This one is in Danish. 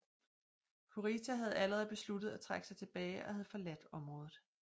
Kurita havde allerede besluttet at trække sig tilbage og havde forladt området